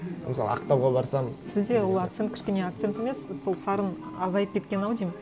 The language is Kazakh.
мысалы ақтауға барсам сізде ол акцент кішкене акцент емес сол сарын азайып кеткен ау деймін